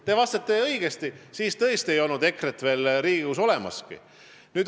Te ütlesite õigesti, et siis ei olnud EKRE-t veel Riigikogus olemaski.